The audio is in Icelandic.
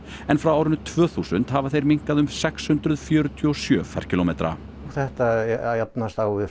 en frá árinu tvö þúsund hafa þeir minnkað um sex hundruð fjörutíu og sjö ferkílómetra þetta jafnast á við